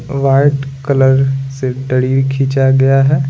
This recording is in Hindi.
वाइट कलर से दड़ीर खींचा गया है।